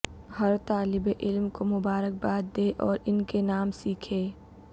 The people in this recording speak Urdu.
ہر طالب علم کو مبارکباد دیں اور ان کے نام سیکھیں